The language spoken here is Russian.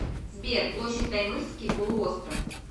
сбер площадь таймырский полуостров